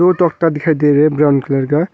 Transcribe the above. दिखाई दे रहे हैं ब्राऊन कलर का।